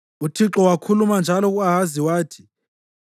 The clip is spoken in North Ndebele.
UThixo wakhuluma njalo ku-Ahazi wathi,